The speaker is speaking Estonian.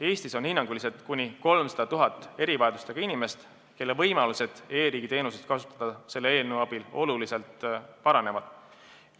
Eestis on hinnanguliselt kuni 300 000 erivajadustega inimest, kelle võimalused e-riigi teenuseid kasutada selle eelnõu abil oluliselt paranevad.